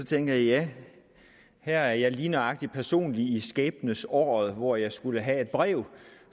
tænkte jeg ja her er jeg lige nøjagtig personligt i skæbnesåret hvor jeg skulle have et brev